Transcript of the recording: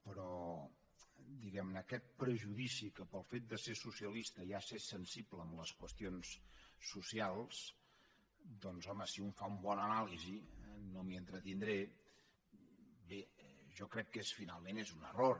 però diguem ne aquest prejudici que pel fet de ser socialista ja s’és sensible a les qüestions socials doncs home si un fa una bona anàlisi no m’hi entretindré bé jo crec que finalment és un error